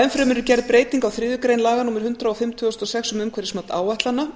enn fremur er gerð breyting á þriðju grein laga númer hundrað og fimm tvö þúsund og sex um umhverfismat áætlana